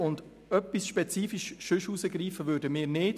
Sonst etwas spezifisch herausgreifen würden wir nicht.